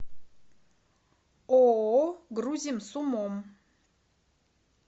ооо грузим с умом